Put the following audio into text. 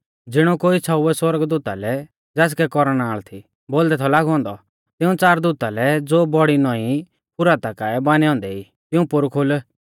ज़िणौ कोई छ़ौउवै सौरगदूता लै ज़ासकै कौरनाल़ थी बोलदै थौ लागौ औन्दौ तिऊं च़ार दूता लै ज़ो बौड़ी नौंई फुराता काऐ बानै औन्दै ई तिऊं पोरु खोल